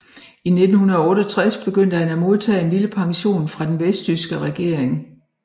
I 1968 begyndte han at modtage en lille pension fra den vesttyske regering